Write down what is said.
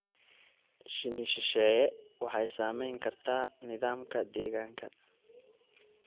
Shinni shisheeye waxay saamayn kartaa nidaamka deegaanka.